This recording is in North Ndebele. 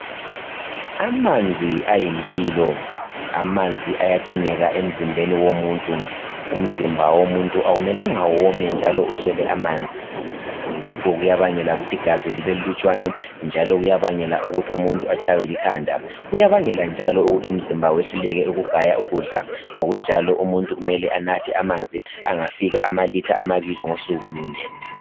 Amanzi ayimpilo amanzi ayadingeka emzimbeni womuntu umzimba womumuntu akumelanga women njalo uswele amanzi lokho kuyabangela ukuthi igazi libe lilutshwana njalo kuyabangela ukuthi umuntu atshaywe likhanda kuyabangela njalo ukuthi umzimba wehluleke ukugaya ukudla ngokunjalo umuntu anathe amanzi afika kumalitha amabili ngosuku lunye